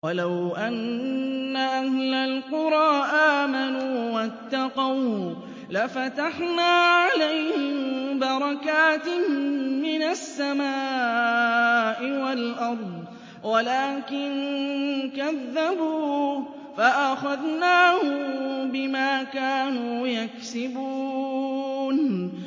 وَلَوْ أَنَّ أَهْلَ الْقُرَىٰ آمَنُوا وَاتَّقَوْا لَفَتَحْنَا عَلَيْهِم بَرَكَاتٍ مِّنَ السَّمَاءِ وَالْأَرْضِ وَلَٰكِن كَذَّبُوا فَأَخَذْنَاهُم بِمَا كَانُوا يَكْسِبُونَ